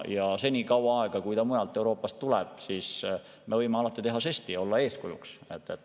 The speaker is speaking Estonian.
Ja senikaua, kui see raha mujalt Euroopast sinna läheb, me võime teha žesti ja olla eeskujuks.